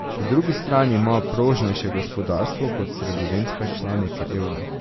Po drugi strani ima prožnejše gospodarstvo kot sredozemske članice evra.